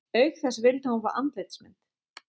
Auk þess vildi hún fá andlitsmynd